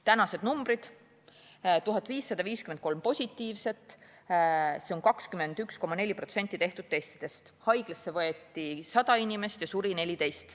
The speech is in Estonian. Tänased numbrid: 1553 positiivset, see on 21,4% tehtud testidest, haiglasse võeti 100 inimest ja suri 14.